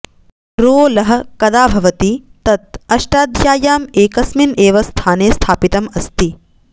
रो लः कदा कदा भवति तत् अष्टाध्याय्याम् एकेस्मिन् एव स्थाने स्थापितम् अस्ति